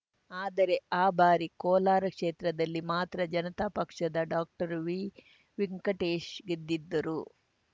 ಆದರೆ ಆ ಬಾರಿ ಕೋಲಾರ ಕ್ಷೇತ್ರದಲ್ಲಿ ಮಾತ್ರ ಜನತಾ ಪಕ್ಷದ ಡಾಕ್ಟರ್ವಿವೆಂಕಟೇಶ್‌ ಗೆದ್ದಿದ್ದರು